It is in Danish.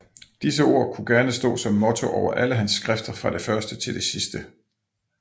Disse ord kunne gerne stå som motto over alle hans skrifter fra det første til det sidste